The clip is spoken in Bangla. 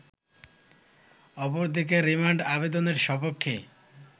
অপরদিকে রিমান্ড আবেদনের স্বপক্ষে